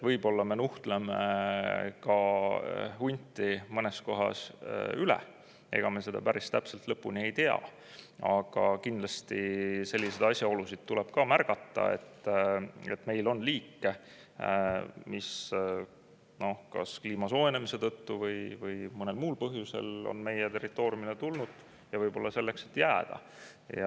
Võib-olla me nuhtleme hunti mõnes kohas üle, ega me seda päris täpselt lõpuni ei tea, aga kindlasti selliseid asjaolusid tuleb ka märgata, et meil on liike, mis kas kliima soojenemise tõttu või mõnel muul põhjusel on meie territooriumile tulnud, ja võib-olla selleks, et jääda.